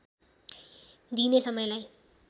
दिइने समयलाई